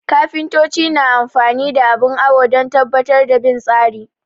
Kafintoci na amfani da abin awo don tabbatar da bin tsari